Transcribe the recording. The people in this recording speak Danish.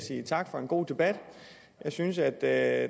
sige tak for en god debat jeg synes at der